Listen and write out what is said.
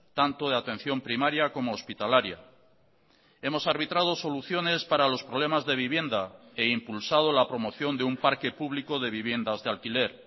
tanto de atención primaria como hospitalaria hemos arbitrado soluciones para los problemas de vivienda e impulsado la promoción de un parque público de viviendas de alquiler